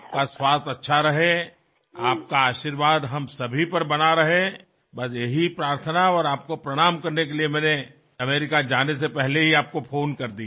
आपका स्वास्थ्य अच्छा रहेआपका आशीर्वाद हम सभी पर बना रहे बस यही प्रार्थना और आपको प्रणाम करने के लिए मैंने अमेरिका जाने से पहले ही आपको फ़ोन कर दिया